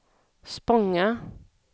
Spånga